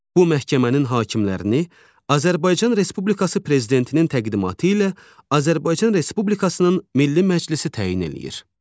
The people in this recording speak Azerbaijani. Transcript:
Bu məhkəmənin hakimlərini Azərbaycan Respublikası prezidentinin təqdimatı ilə Azərbaycan Respublikasının Milli Məclisi təyin eləyir.